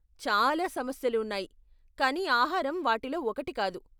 చాలా సమస్యలు ఉన్నాయి కానీ ఆహారం వాటిలో ఒకటి కాదు!